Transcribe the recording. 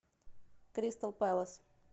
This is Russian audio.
кристал пэлас